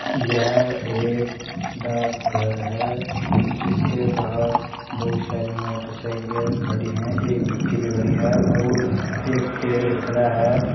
यह एक डाकघर है जिसके बाहर बहुत सारी मोटरसाइकिलें खड़ी हैं एक विक्की भी खड़ी है और एक पेड़ खड़ा है।